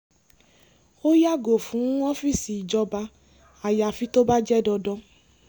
ó yàgò fún ọ́fíìsì ìjọba ayafi tó bá jẹ́ dandan